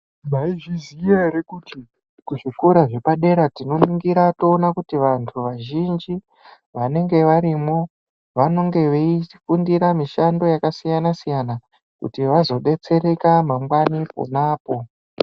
Maizviziya ere kuti kuzvikora zvepadera tinoningira toona kuti vantu vazhinji vanenge varimwo, vanonge veifundira mishando yakasiyana-siyana kuti vazobetsereka mangwani ponapo?